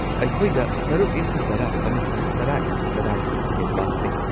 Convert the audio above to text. ꯑꯩꯈꯣꯏꯗ ꯸x꯱꯰ ꯑꯃꯁꯨꯡ ꯶X꯱꯰ ꯒꯤ ꯀꯦꯟꯚꯥꯁ ꯂꯩ꯫